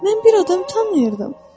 Mən bir adam tanıyırdım.